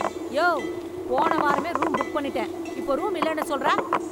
யோவ், போன வாரமே room book பண்ணிட்டேன், இப்போ ரூம் இல்லேண்ணு சொல்ற.